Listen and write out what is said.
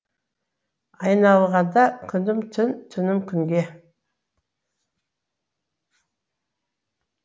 айналғанда күнім түн түнім күнге